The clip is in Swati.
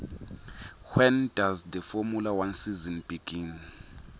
when does the formula one season begin